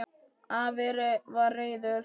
Afi var reiður.